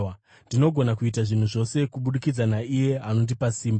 Ndinogona kuita zvinhu zvose kubudikidza naiye anondipa simba.